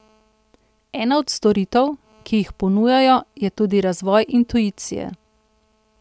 Ena od storitev, ki jih ponujajo, je tudi razvoj intuicije.